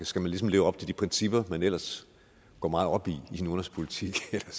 skal leve op til de principper man ellers går meget op i i sin udenrigspolitik eller